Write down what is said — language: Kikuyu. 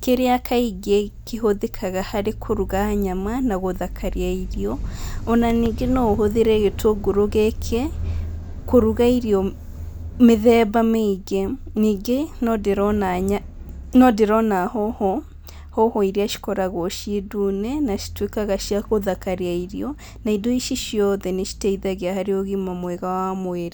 kĩrĩa kaingĩ kĩhũthĩkaga harĩ kũruga nyama na gũthakaria irio ona ningĩ no ũhũthĩre gĩtũngũrũ gĩkĩ kũruga irio mĩthemba mĩingĩ ningĩ no ndĩrona hoho, hoho iria cikoragwo ciĩ ndune na cituĩkaga cia gũthakaria irio na indo ici ciothe nĩ citeithagia harĩ ũgima mwega wa mwĩrĩ.